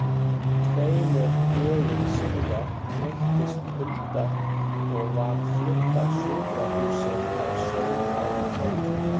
Tveimur dögum síðar veiktist Hulda og var flutt á sjúkrahúsið á Sauðárkróki.